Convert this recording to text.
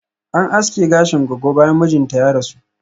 An aske gashin goggo bayan mijinta ya rasu